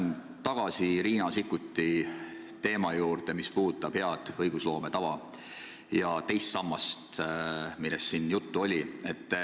Ma tulen tagasi Riina Sikkuti küsimuse teema juurde, mis puudutas head õigusloome tava ja teist sammast.